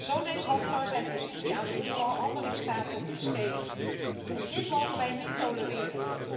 Zo denkt Haftar zijn positie aan de onderhandelingstafel te verstevigen. Dit mogen wij niet tolereren.